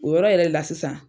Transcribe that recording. O yɔrɔ yɛrɛ le la sisan.